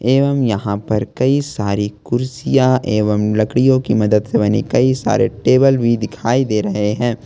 एवं यहां पर कई सारी कुर्सियां एवं लड़कियों की मदद से बनी कई सारे टेबल भी दिखाई दे रहे हैं।